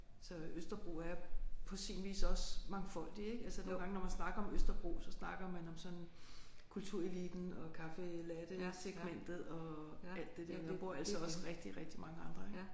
Så Østerbro er på sin vis også mangfoldig ik altså nogle gange når man snakker om Østerbro så snakker man om sådan kultureliten og caffe latte-segmentet og alt det der men der bor altså også rigtig rigtig mange andre ik